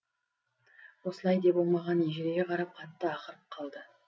осылай деп ол маған ежірейе қарап қатты ақырып қалды